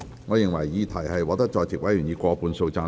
我認為議題獲得在席委員以過半數贊成。